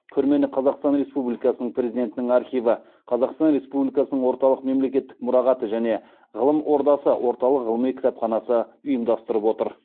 көрмені қазақстан республикасының президентінің архиві қазақстан республикасының орталық мемлекеттік мұрағаты және ғылым ордасы орталық ғылыми кітапханасы ұйымдастырып отыр